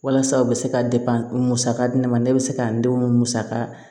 Walasa u bɛ se ka musaka di ne ma ne bɛ se ka n denw musa